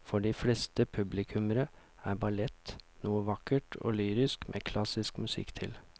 For de fleste publikummere er ballett noe vakkert og lyrisk med klassisk musikk til.